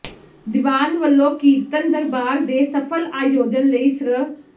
ਦੀਵਾਨ ਵੱਲੋਂ ਕੀਰਤਨ ਦਰਬਾਰ ਦੇ ਸਫਲ ਆਯੋਜਨ ਲਈ ਸ੍ਰ